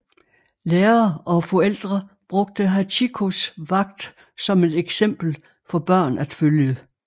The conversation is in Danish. Lærere og forældre brugte Hachikōs vagt som et eksempel for børn at følge